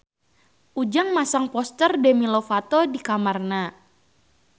Ujang masang poster Demi Lovato di kamarna